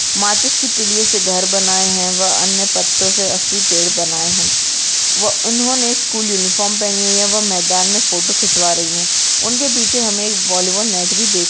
माचिस की तीलियों से घर बनाए हैं वा अन्य पत्तों से असली पेड़ बनाए हैं वा उन्होंने स्कूल यूनिफॉर्म पहनी हुई है वा मैदान में फोटो खिंचवा रही है उनके पीछे हमें एक बॉलीवुड नेट भी देख --